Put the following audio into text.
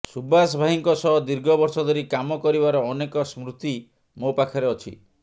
ସୁବାଷ ଭାଇଙ୍କ ସହ ଦୀର୍ଘ ବର୍ଷ ଧରି କାମ କରିବାର ଅନେକ ସ୍ମୃତି ମୋ ପାଖରେ ଅଛି